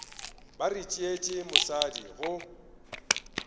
ba re tšeetše mosadi go